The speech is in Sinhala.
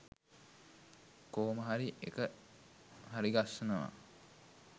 කොහොම හරි එක හරිගස්සනවා